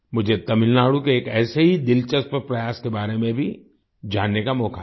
मुझे तमिलनाडु के एक ऐसे ही दिलचस्प प्रयास के बारे में भी जानने का मौका मिला